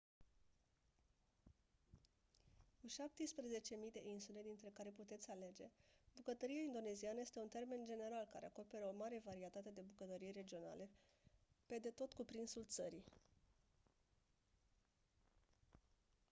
cu 17.000 de insule dintre care puteți alege bucătăria indoneziană este un termen general care acoperă o mare varietate de bucătării regionale pe de tot cuprinsul țării